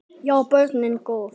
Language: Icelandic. Já, börnin góð.